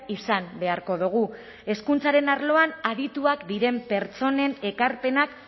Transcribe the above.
izan beharko dugu hezkuntzaren arloan adituak diren pertsonen ekarpenak